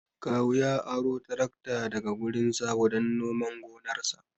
Kawu ya ara tarakta daga wurin Sabo dan nomar gonarsa